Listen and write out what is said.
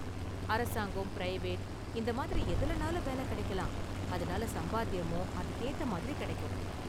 அரசாங்கம், பிரைவேட் இந்த மாதிரி எதுலனாலும் வேலை கிடைக்கலாம், அதனால சம்பாத்தியமும் அதுக்கு ஏத்த மாதிரி கிடைக்கும்.